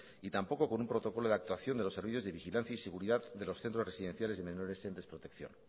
y tampoco con un protocolo de actuación de los servicios de vigilancia y seguridad de los centros residenciales de menores en desprotección